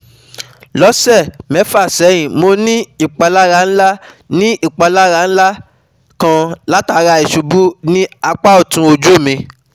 lọsẹ mefa sẹhin Mo ni ipalara nla ni ipalara nla kan latara isubu ni apa ọtun oju mi